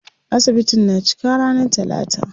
Asibitin na cika ranar talata.